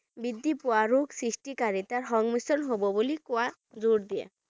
বৃদ্ধিপোৱা ৰোগ সৃষ্টিকাৰীতাৰ সংমিশ্ৰণ হ'ব বুলি কোৱা জোৰ দিয়ে।